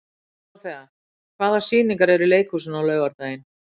Dórothea, hvaða sýningar eru í leikhúsinu á laugardaginn?